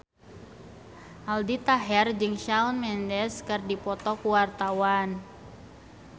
Aldi Taher jeung Shawn Mendes keur dipoto ku wartawan